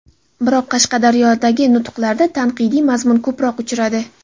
Biroq Qashqadaryodagi nutqlarida tanqidiy mazmun ko‘proq uchradi.